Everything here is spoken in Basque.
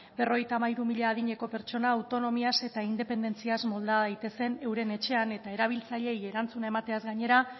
berrogeita hamairu mila adineko pertsona autonomiaz eta independentziaz molda daitezen euren etxean eta erabiltzaileei erantzuna emateaz gainera